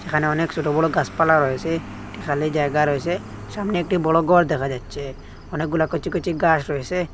এখানে অনেক সোটো বড় গাসপালা রয়েসে একটি খালি জায়গা রয়েছে সামনে একটি বড় গর দেখা যাচ্ছে অনেকগুলো কচি কচি গাস রয়েসে।